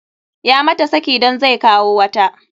Ya mata saki dan zai kawo wata.